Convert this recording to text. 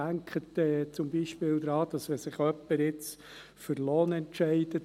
Denken Sie zum Beispiel daran, wenn sich jemand für Lohn statt für Dividende entscheidet: